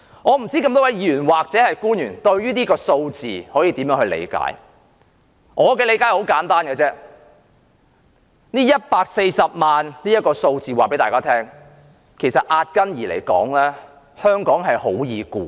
我不知道各位議員或官員如何理解這個數字，我的理解很簡單 ，140 萬這個數字告訴大家，壓根兒香港很容易管治。